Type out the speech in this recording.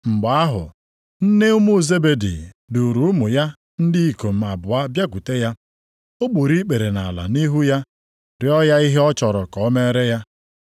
Mgbe ahụ, nne ụmụ Zebedi, duuru ụmụ ya ndị ikom abụọ bịakwute ya, o gburu ikpere nʼala nʼihu ya, rịọ ya ihe ọ chọrọ ka o meere ha.